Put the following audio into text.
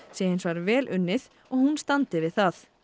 sé hins vegar vel unnið og hún standi við það